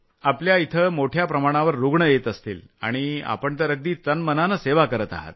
आपल्या इथं मोठ्या प्रमाणावर रूग्ण येत असतील आणि आपण तर अगदी तनमनानं सेवा करत आहात